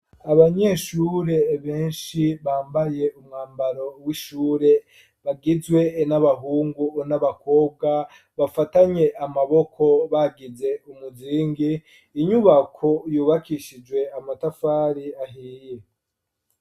Abanyeshure benshi, bambaye umwambaro w'ishure, bagizwe n'abahungu n'abakobwa, bafatanye amaboko bagize umuzingi, inyubako yubakishijwe amatafari ahiye.